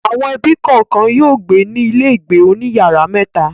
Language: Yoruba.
Àwọn ẹbí kọ̀ọ̀kan yóò gbé ní ilégbèé oní ìyàrá mẹ́ta.